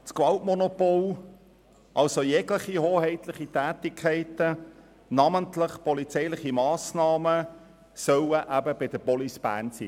Das Gewaltmonopol und jegliche hoheitlichen Tätigkeiten, namentlich polizeiliche Massnahmen, sollen der Kantonspolizei Bern (Kapo Bern) vorbehalten bleiben.